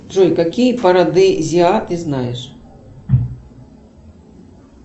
джой какие парадезиа ты знаешь